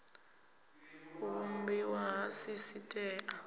u vhumbiwa ha sisiteme ya